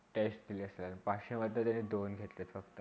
Test दिला असेल पाचश्यामधले दोन घेतले फक्त